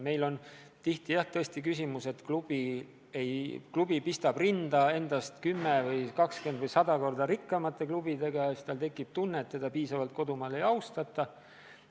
Meil on tihti, jah, tõesti küsimus selles, et klubi pistab rinda endast 10 või 20 või 100 korda rikkamate klubidega, ja siis tal tekib tunne, et teda piisavalt kodumaal ei austata.